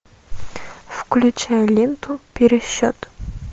включай ленту пересчет